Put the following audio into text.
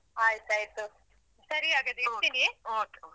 ಆಯ್ತು ಆಯ್ತು ಸರಿ ಹಾಗಾದ್ರೆ .